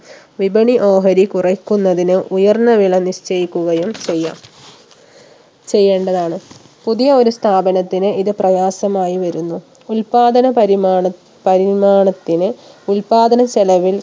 വിപണി ഓഹരി കുറക്കുന്നതിന് ഉയർന്ന വില നിശ്ചയിക്കുകയും ചെയ്യാം ചെയ്യേണ്ടതാണ് പുതിയ ഒരു സ്ഥാപനത്തിന് ഇത് പ്രയാസമായി വരുന്നു ഉൽപ്പാദന പരിമാണ പരിമാണത്തിന് ഉൽപ്പാദന ചെലവിൽ